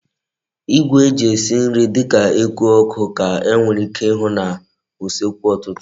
Igwe eji esi nri di ka eku oku ka e nwere ike ihu na usekwu otutu ulo